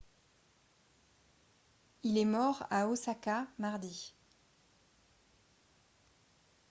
il est mort à osaka mardi